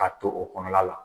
Ka to o kɔnɔna la